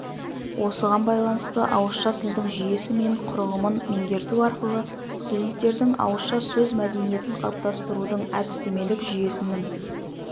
осыған байланысты ауызша тілдің жүйесі мен құрылымын меңгерту арқылы студенттердің ауызша сөз мәдениетін қалыптастырудың әдістемелік жүйесінің